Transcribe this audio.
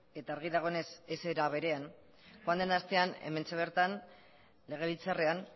eta argi dagoenez ez era berean joan den astean hementxe bertan legebiltzarrean